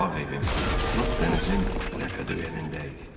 Bağ evim lap dənizin ləpədöyənində idi.